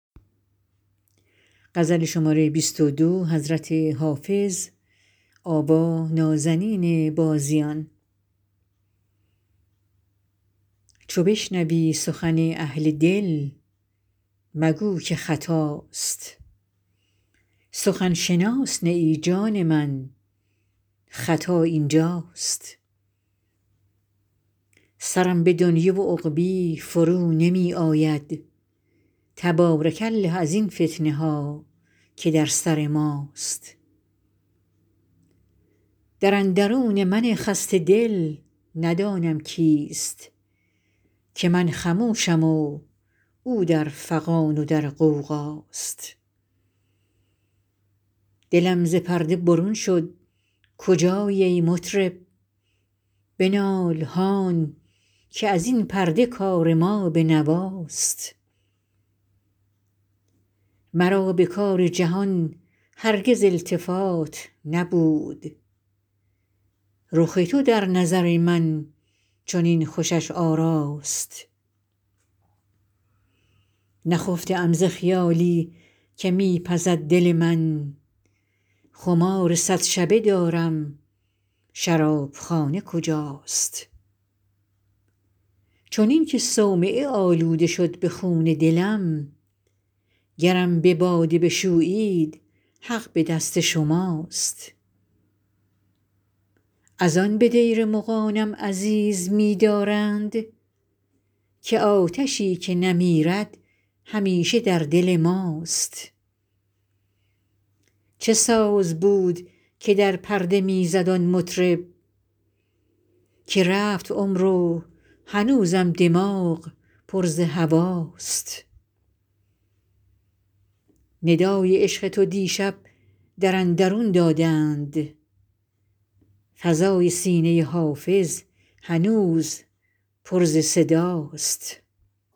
چو بشنوی سخن اهل دل مگو که خطاست سخن شناس نه ای جان من خطا این جاست سرم به دنیی و عقبی فرو نمی آید تبارک الله ازین فتنه ها که در سر ماست در اندرون من خسته دل ندانم کیست که من خموشم و او در فغان و در غوغاست دلم ز پرده برون شد کجایی ای مطرب بنال هان که از این پرده کار ما به نواست مرا به کار جهان هرگز التفات نبود رخ تو در نظر من چنین خوشش آراست نخفته ام ز خیالی که می پزد دل من خمار صد شبه دارم شراب خانه کجاست چنین که صومعه آلوده شد ز خون دلم گرم به باده بشویید حق به دست شماست از آن به دیر مغانم عزیز می دارند که آتشی که نمیرد همیشه در دل ماست چه ساز بود که در پرده می زد آن مطرب که رفت عمر و هنوزم دماغ پر ز هواست ندای عشق تو دیشب در اندرون دادند فضای سینه حافظ هنوز پر ز صداست